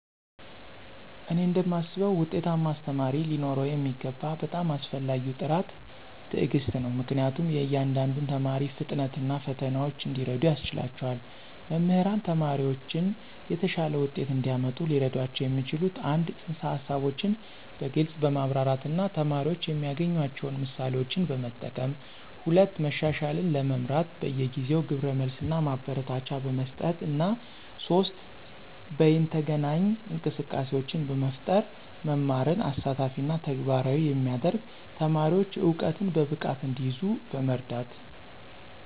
እኔ እንደማስበው ውጤታማ አስተማሪ ሊኖረው የሚገባው በጣም አስፈላጊው ጥራት ትዕግስት ነው, ምክንያቱም የእያንዳንዱን ተማሪ ፍጥነት እና ፈተናዎች እንዲረዱ ያስችላቸዋል. መምህራን ተማሪዎችን የተሻለ ውጤት እንዲያመጡ ሊረዷቸው የሚችሉት - 1) ፅንሰ-ሀሳቦችን በግልፅ በማብራራት እና ተማሪዎች የሚያገናኟቸውን ምሳሌዎችን በመጠቀም፣ 2) መሻሻልን ለመምራት በየጊዜው ግብረ መልስ እና ማበረታቻ በመስጠት፣ እና 3) በይነተገናኝ እንቅስቃሴዎችን በመፍጠር መማርን አሳታፊ እና ተግባራዊ የሚያደርግ፣ ተማሪዎች እውቀትን በብቃት እንዲይዙ በመርዳት።